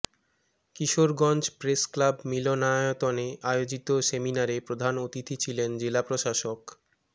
Kishoreganj press club মিলনায়তনে আয়োজিত সেমিনারে প্রধান অতিথি ছিলেন জেলা প্রশাসক মো